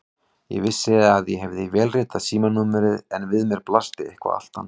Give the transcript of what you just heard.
Ég vissi að ég hafði vélritað símanúmer en við mér blasti eitthvað allt annað.